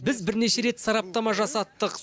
біз бернеше рет сараптама жасаттық